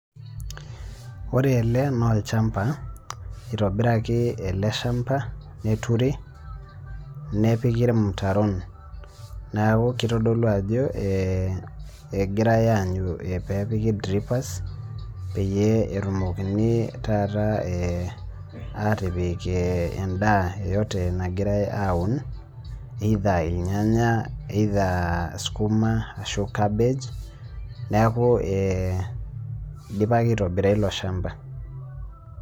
Ore ele naa olchampa, itobiraki ele shampa neturi, nepiki ilmutaron, neeku kitodolu ajo egirae aanyu, peepiki dripers peyie etumokini, taata aatipik edaa yeyote nagirae aaun either ilnyanya Sukima, ashu kabej neeku idipaki aitobira ilo shampa.